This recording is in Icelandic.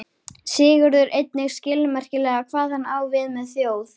Sigurður einnig skilmerkilega hvað hann á við með þjóð.